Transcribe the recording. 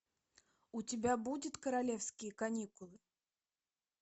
у тебя будет королевские каникулы